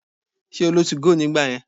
Ṣé o lo 2go nígbà yẹn?